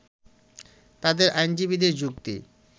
তাদের আইনজীবীদের যুক্তি